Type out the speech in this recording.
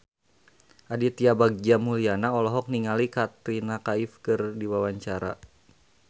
Aditya Bagja Mulyana olohok ningali Katrina Kaif keur diwawancara